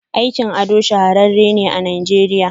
Aikin ado shahararren ne a nigeriya.